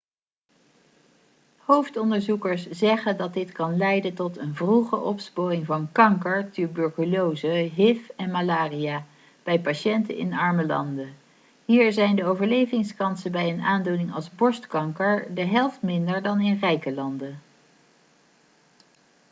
hoofdonderzoekers zeggen dat dit kan leiden tot een vroege opsporing van kanker tuberculose hiv en malaria bij patiënten in arme landen hier zijn de overlevingskansen bij een aandoening als borstkanker de helft minder dan in rijke landen